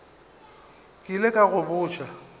ke ile ka go botša